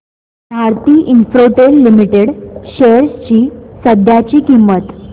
Bharti Infratel limited shares ची सध्याची किंमत